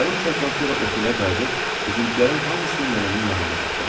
Yarım saatdan sonra otelə qayıdıb bizimkilərin hamısını nənənin yanında tapdım.